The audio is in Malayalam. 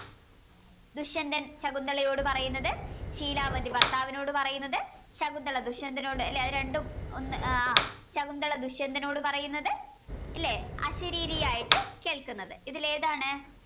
ദുഷ്യന്ദൻ ശകുന്തളയോട് പറയുന്നത് ശീലാവതി ഭർത്താവിനോട് പറയുന്നത് ശകുന്തള ദുഷ്യന്ദനോട് ലേ അത് രണ്ടും ഒന്ന് ആഹ് ശകുന്തള ദുഷ്യന്ദനോട് പറയുന്നത് ല്ലേ അശരീരി ആയിട്ട് കേൾക്കുന്നത് ഇതിലേതാണ്